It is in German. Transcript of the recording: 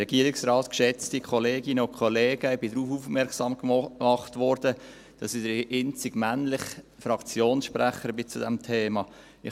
Ich wurde darauf aufmerksam gemacht, dass ich der einzige männliche Fraktionssprecher zu diesem Thema sei.